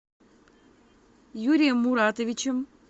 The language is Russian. юрием муратовичем